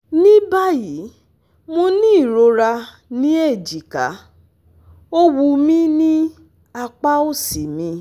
Ní báyìí, mo ní ìrora ní ejika, ó wúmi ní apa osi mi